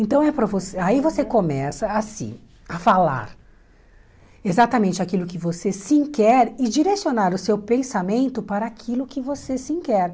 Então, aí para você aí você começa a se, a falar exatamente aquilo que você sim quer e direcionar o seu pensamento para aquilo que você sim quer.